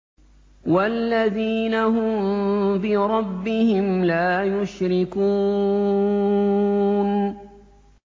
وَالَّذِينَ هُم بِرَبِّهِمْ لَا يُشْرِكُونَ